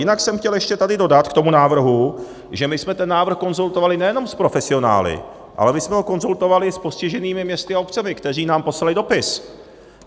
Jinak jsem chtěl ještě tady dodat k tomu návrhu, že my jsme ten návrh konzultovali nejenom s profesionály, ale my jsme ho konzultovali s postiženými městy a obcemi, které nám poslaly dopis.